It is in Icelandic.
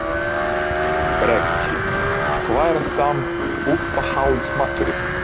Breki: Hvað er samt uppáhalds maturinn þinn?